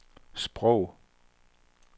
sprog